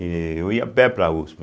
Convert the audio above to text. Eu ia a pé para a uspe.